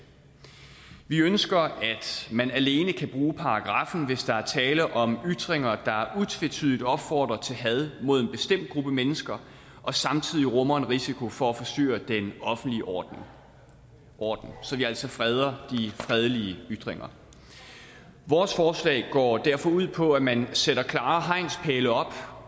vi ønsker at man alene kan bruge paragraffen hvis der er tale om ytringer der utvetydigt opfordrer til had mod en bestemt gruppe mennesker og samtidig rummer en risiko for at forstyrre den offentlige orden orden så vi altså freder de fredelige ytringer vores forslag går derfor ud på at man sætter klare hegnspæle op